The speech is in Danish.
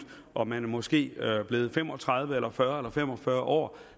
og man måske er blevet fem og tredive eller fyrre eller fem og fyrre år